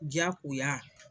Diyakoya